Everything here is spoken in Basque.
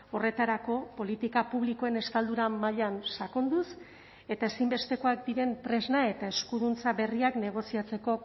horretarako politika publikoen estaldura mailan sakonduz eta ezinbestekoak diren tresna eta eskuduntza berriak negoziatzeko